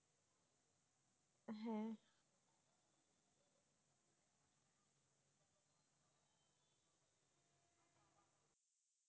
হ্যাঁ